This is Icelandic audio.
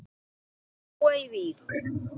Þau búa í Vík.